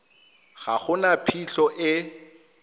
ga go na phitlho e